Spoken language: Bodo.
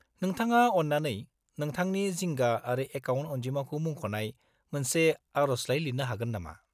-नोंथाङा अन्नानै नोंथांनि जिंगा आरो एकाउन्ट अनजिमाखौ मुंख'नाय मोनसे आर'जलाइ लिरनो हागोन नामा?